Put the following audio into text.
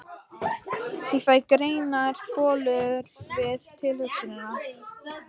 Ég fæ grænar bólur við tilhugsunina!